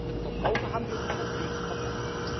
mehr! Für den Verbraucher haben wir unsere Pflicht erbracht.